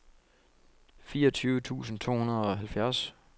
fireogtyve tusind to hundrede og halvfjerds